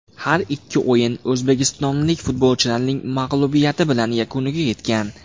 Har ikki o‘yin o‘zbekistonlik futbolchilarning mag‘lubiyati bilan yakuniga yetgan.